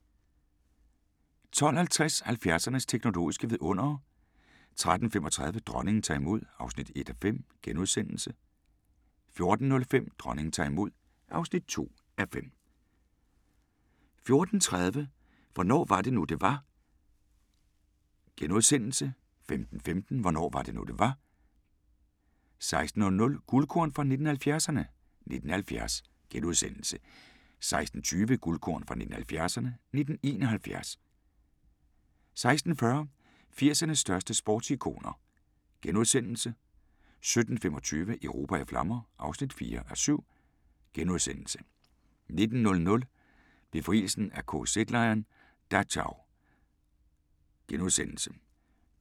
12:50: 70'ernes teknologiske vidundere 13:35: Dronningen tager imod (1:5)* 14:05: Dronningen tager imod (2:5) 14:30: Hvornår var det nu, det var? * 15:15: Hvornår var det nu, det var? 16:00: Guldkorn 1970'erne: 1970 * 16:20: Guldkorn 1970'erne: 1971 16:40: 80'ernes største sportsikoner * 17:25: Europa i flammer (4:7)* 19:00: Befrielsen af KZ-lejren Dachau *